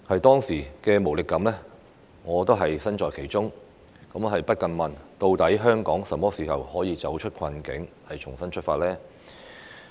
當時的無力感，我身在其中，亦不禁要問，究竟香港甚麼時候可以走出困境，重新出發呢？